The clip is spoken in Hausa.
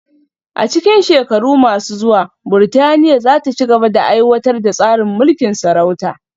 A cikin shekaru masu zuwa, Burtaniya za ta ci gaba da aiwatar da tsarin mulkin sarauta